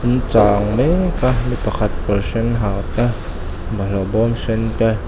an chang mekkk a mi pakhat kawr sen ha te bawlhhlawh bawm sen te.